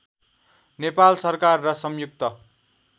नेपाल सरकार र संयुक्त